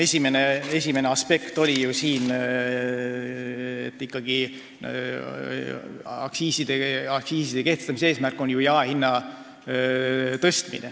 Esimene aspekt oli, et aktsiiside kehtestamise eesmärk on ikkagi jaehinna tõstmine.